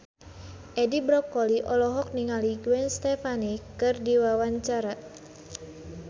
Edi Brokoli olohok ningali Gwen Stefani keur diwawancara